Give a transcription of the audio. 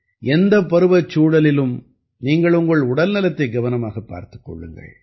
எந்தப் பருவச்சூழலிலும் நீங்கள் உங்கள் உடல்நலத்தை கவனமாகப் பார்த்துக் கொள்ளுங்கள்